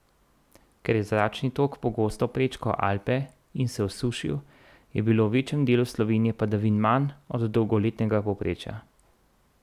Ker je zračni tok pogosto prečkal Alpe in se osušil, je bilo v večjem delu Slovenije padavin manj od dolgoletnega povprečja.